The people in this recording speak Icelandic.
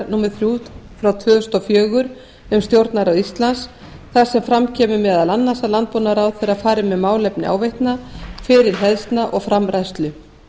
númer þrjú tvö þúsund og fjögur um stjórnarráð íslands þar sem fram kemur meðal annars að landbúnaðarráðherra fari með málefni áveitna fyrirhleðslna og framræslu